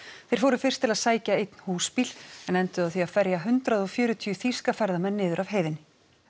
þeir fóru fyrst til að sækja einn húsbíl en enduðu á því að ferja hundrað og fjörutíu þýska ferðamenn niður af heiðinni